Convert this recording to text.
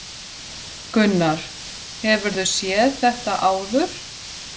Gunnar: Hefurðu séð þetta áður?